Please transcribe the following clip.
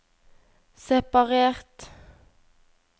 separert